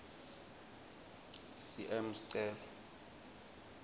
cm sicelo